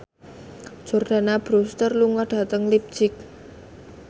Jordana Brewster lunga dhateng leipzig